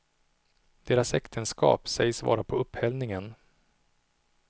Deras äktenskap sägs vara på upphällningen.